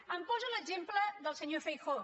em posa l’exemple del senyor feijóo